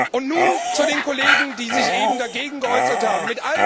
Und nun zu den Kollegen, die sich eben dagegen geäußert haben.